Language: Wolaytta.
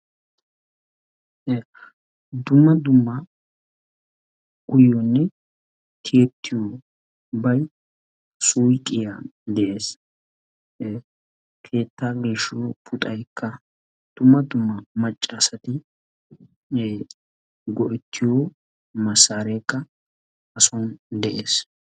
Dumma dumma uyoonne tiyettiyoobay suyiqiyan de'ees. Keettaa geeshshiyoo puxayikka dumma dumma macca asati go'ettiyoo massareekka ha son de'es.